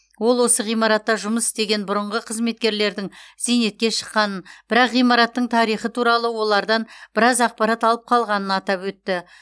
ол осы ғимаратта жұмыс істеген бұрынғы қызметкерлердің зейнетке шыққанын бірақ ғимараттың тарихы туралы олардан біраз ақпарат алып қалғанын атап өтті